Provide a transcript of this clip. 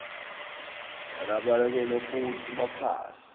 yalababekwe kutsi baphatse